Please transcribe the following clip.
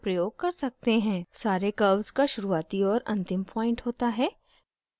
सारे curves का शुरूआती और अंतिम point होता है